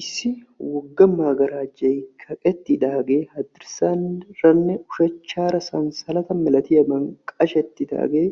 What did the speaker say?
Issi wogga magarajjay kaqettidaagee hadirsaaranne ushachcaara sansalata milatiyaaban qashettidaagee